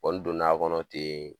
Kɔni donn'a kɔnɔ ten